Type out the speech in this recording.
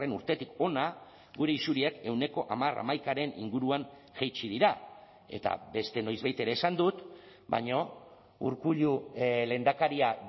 urtetik hona gure isuriak ehuneko hamar hamaikaren inguruan jaitsi dira eta beste noizbait ere esan dut baina urkullu lehendakaria